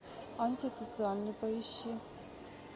антисоциальный поищи